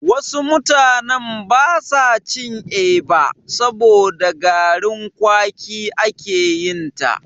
Wasu mutanen basa cin Eba, saboda da garin kwaki ake yinta.